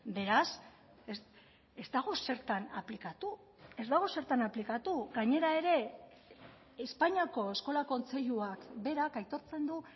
beraz ez dago zertan aplikatu ez dago zertan aplikatu gainera ere espainiako eskola kontseiluak berak aitortzen du